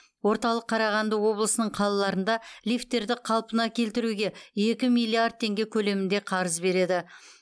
орталық қарағанды облысының қалаларында лифттерді қалпына келтіруге екі миллиард теңге көлемінде қарыз береді